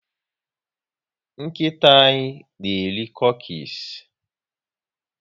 Nkịta anyị na eri cukies